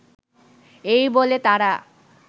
এই বলে তারা